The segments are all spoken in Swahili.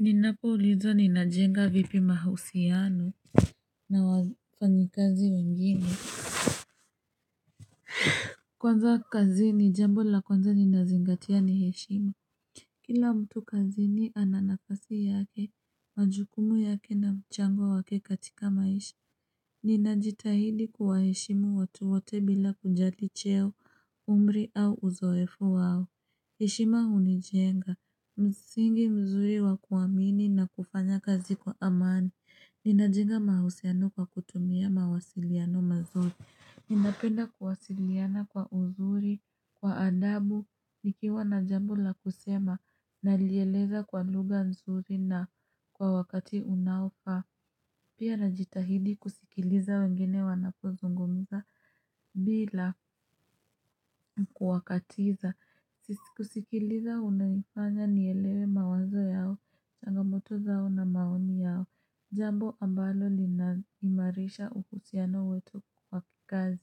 Ninapoulizwa ninajenga vipi mahusiano na wafanyikazi wengine Kwanza kazi ni jambo la kwanza ninazingatia ni heshima. Kila mtu kazini ana nafasi yake majukumu yake na mchango wake katika maisha. Ninajitahidi kuwaheshimu watu wote bila kujali cheo, umri au uzoefu wao. Heshima hunijenga, msingi mzuri wakuwamini na kufanya kazi kwa amani, ninajenga mahusiano kwa kutumia mawasiliano mazuri. Ninapenda kuwasiliana kwa uzuri, kwa adabu, nikiwa na jambo la kusema, nalieleza kwa lugha nzuri na kwa wakati unaofaa. Pia najitahidi kusikiliza wengine wanapozungumza bila kuwakatiza. Sisi kusikiliza unanifanya nielewe mawazo yao, changamoto zao na maoni yao. Jambo ambalo linaimarisha uhusiano wetu kwa kikazi.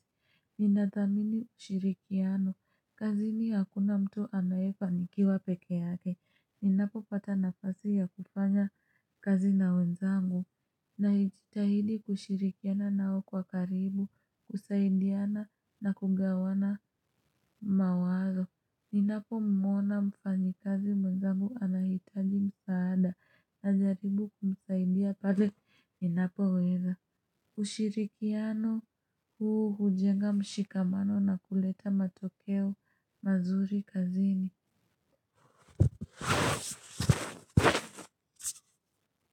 Ninathamini ushirikiano. Kazini hakuna mtu anayefanikiwa peke yake. Ninapopata nafasi ya kufanya kazi na wenzangu. Najitahidi kushirikiana nao kwa karibu kusaidiana na kugawana mawazo Ninapomwona mfanyikazi mwenzangu anahitaji msaada najaribu kumsaidia pale Ninapoweza ushirikiano huu hujenga mshikamano na kuleta matokeo mazuri kazini.